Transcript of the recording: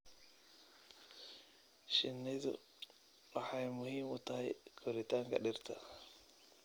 Shinnidu waxay muhiim u tahay koritaanka dhirta.